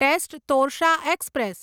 test Torsha express